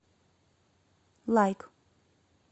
лайк